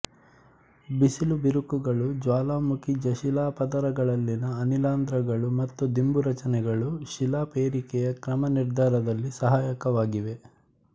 ಬಿಸಿಲು ಬಿರುಕುಗಳು ಜ್ವಾಲಾಮುಖಿಜಶಿಲಾಪದರಗಳಲ್ಲಿನ ಅನಿಲರಂಧ್ರಗಳು ಮತ್ತು ದಿಂಬು ರಚನೆಗಳು ಶಿಲಾಪೇರಿಕೆಯ ಕ್ರಮನಿರ್ಧಾರದಲ್ಲಿ ಸಹಾಯಕವಾಗಿವೆ